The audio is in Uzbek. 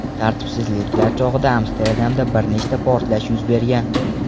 Tartibsizliklar chog‘ida Amsterdamda bir nechta portlash yuz bergan .